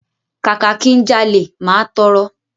Kàkà ki n jalè, máa tọrọ.